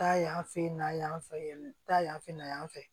Taa yan fɛ n'a y'an fɛ yan taa yan fɛ na yan fɛ